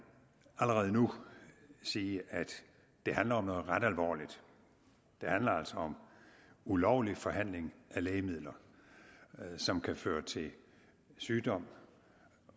allerede nu sige at det handler om noget ret alvorligt det handler altså om ulovlig formidling af lægemidler som kan føre til sygdom